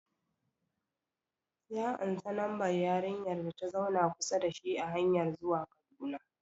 Ya ansa lambar yarinyar data zauna kusa da shi a hanyar zuwa Kaduna